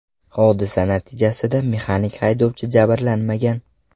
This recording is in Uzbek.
Hodisa natijasida mexanik haydovchi jabrlanmagan.